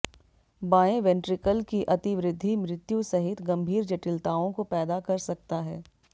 बाएं वेंट्रिकल की अतिवृद्धि मृत्यु सहित गंभीर जटिलताओं को पैदा कर सकता है